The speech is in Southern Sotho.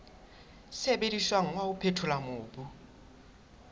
sebediswang wa ho phethola mobu